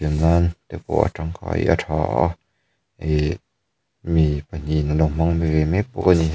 nan te pawh a tangkai a tha a ih mi pahnih in anlo hmang ve mek bawk a ni.